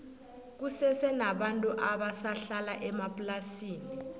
kusese nabantu abasa hlala emaplasini